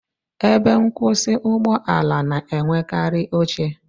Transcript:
Ebe nkwusi Ụgbọ ala na-enwekarị oche